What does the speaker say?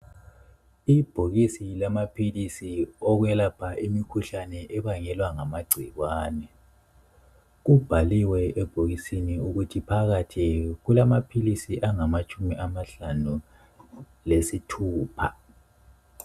Ibhokisi lamaphilisi okwelapha imikhuhlane ebangelwa ngamagcikwane. Kubhaliwe ebhokisini ukuthi phakathi kulamaphisi angamatshumi amahlanu lesithupha.